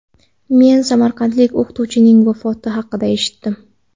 Men samarqandlik o‘qituvchining vafoti haqida eshitdim.